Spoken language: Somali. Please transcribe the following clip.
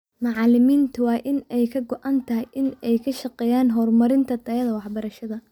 Macalimiinta waa in ay ka go'an tahay in ay ka shaqeeyaan horumarinta tayada waxbarashada.